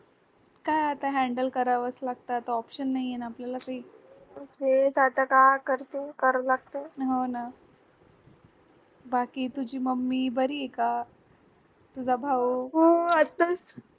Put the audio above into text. काय आता handle करावच लागत आता option नाहीये ना आपल्याला काही हो ना बाकी तुझी mummy बरीए आहे का तुझा भाऊ